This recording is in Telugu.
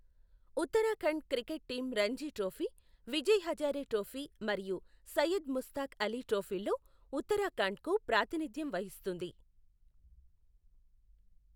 Uttarakhand cricket team Ranji trophy, Vijay Hazare trophy మరియు సయ్యద్ ముస్తాక్ అలీ ట్రోఫీల్లో ఉత్తరాఖండ్కు ప్రాతినిధ్యం వహిస్తుంది.